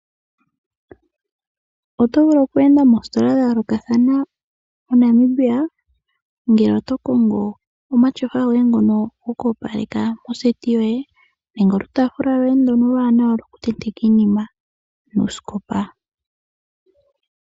Oto vulu oku enda moositola dha yoolokathana moNamibia, ngele oto kongo omatyofa goye ngono goku opaleka nawa moseti yoye, nenge okataafula koye okawaanawa ko ku tenteka iinima noosikopa.